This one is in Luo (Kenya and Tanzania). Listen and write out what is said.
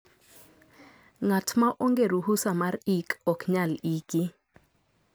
ngat ma onge ruhusa mar ik ok nyal iki